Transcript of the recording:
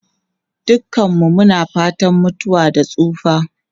Dukanmu muna fatan mutuwa da tsufa.